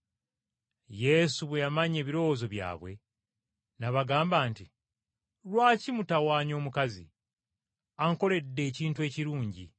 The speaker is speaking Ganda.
Yesu bwe yamanya ebirowoozo byabwe, n’abagamba nti, “Lwaki mutawanya omukazi? Ankoledde ekintu ekirungi.